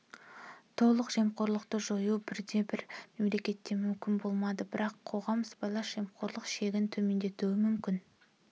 толық жемқорлықты жою бірде-бір мемлекетке мүмкін болмады бірақ қоғам сыбайлас жемқорлық шегін төмендетуі мүмкін